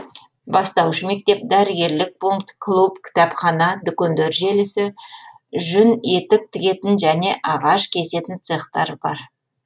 бастауыш мектеп дәрігерлік пункт клуб кітапхана дүкендер желісі жүн етік тігетін және ағаш кесетін цехтар бар